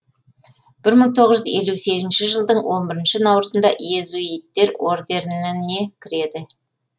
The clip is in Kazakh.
бір мың тоғыз жүз елу сегізінші жылдың он бірінші наурызында иезуиттер ордерініне кіреді